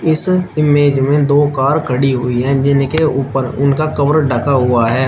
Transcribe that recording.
इस इमेज में दो कार खड़ी हुई हैं जिनके ऊपर उनका कवर ढका हुआ है।